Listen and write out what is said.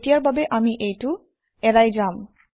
এতিয়াৰ বাবে আমি এইটো এৰাই যাম